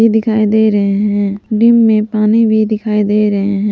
दिखाई दे रहे हैं दिन में पानी भी दिखाई दे रहे हैं।